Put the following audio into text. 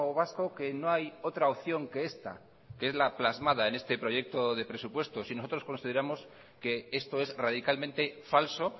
vasco que no hay otra opción que esta que es la plasmada en este proyecto de presupuesto y nosotros consideramos que esto es radicalmente falso